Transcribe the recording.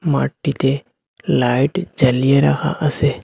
মাঠটিতে লাইট জ্বালিয়ে রাখা আসে ।